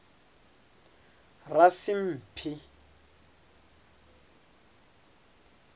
rasimphi